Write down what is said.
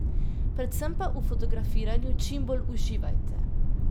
Predvsem pa v fotografiranju čim bolj uživajte.